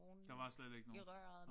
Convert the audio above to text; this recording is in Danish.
Der var slet ikke nogen